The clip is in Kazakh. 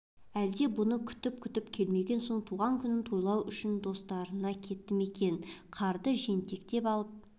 әлде бұны күтіп-күтіп келмеген соң туған күнін тойлау үшін достарына кетті ме екен қарды жентектеп алып